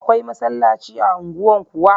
Akwai masallaci a unguwan kuwa?